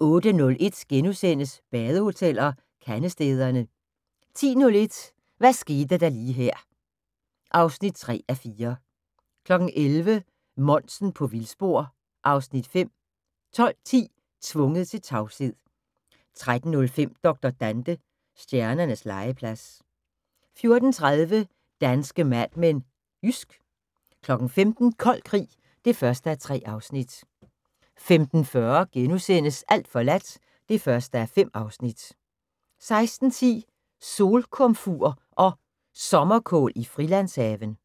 08:01: Badehoteller - Kandestederne * 10:01: Hvad skete der lige her (3:4) 11:00: Monsen på vildspor (Afs. 5) 12:10: Tvunget til tavshed 13:05: Dr. Dante – Stjernernes legeplads 14:30: Danske Mad Men: Jysk 15:00: Kold krig (1:3) 15:40: Alt forladt (1:5)* 16:10: Solkomfur og Sommerkål i Frilandshaven